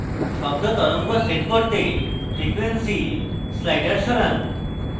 শব্দ তরঙ্গ set করতে frequency slider সরান